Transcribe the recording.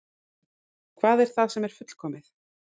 Hvað er það sem er fullkomið?